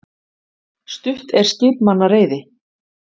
Stutt er skipmanna reiði.